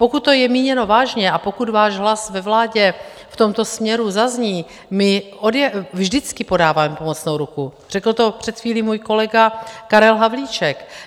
Pokud to je míněno vážně a pokud váš hlas ve vládě v tomto směru zazní, my vždycky podáváme pomocnou ruku, řekl to před chvílí můj kolega Karel Havlíček.